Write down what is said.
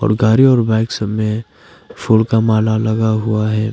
गाड़ी और बाइक सब में फूल का माला लगा हुआ है।